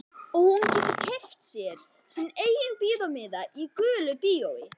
Og hún getur keypt sinn eigin bíómiða í gulu bíói.